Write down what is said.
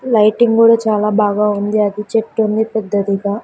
Lighting కూడా చాలా బాగా ఉంది అది చెట్టుంది పెద్దదిగా.